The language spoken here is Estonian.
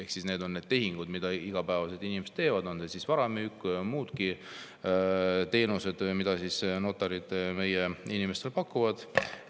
Ja need on tehingud, mida igapäevaselt inimesed teevad, on see siis vara müük või muude teenused, mida notarid meie inimestele pakuvad.